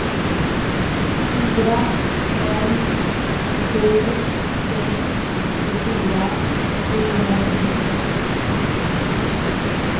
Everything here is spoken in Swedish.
fyra fem sju sex tjugofyra trehundratjugosex